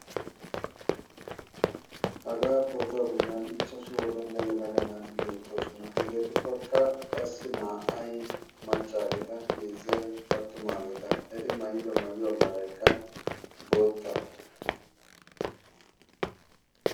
Hagaa pootuwaa bollan ichchashu wodala yalaga naati beettoosona hegeetuppakka qassi na'aay maccaageeta heezzai attumaageeta eti maayido mayyuwaa maraykka bootta